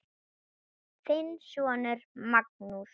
Þinn sonur Magnús.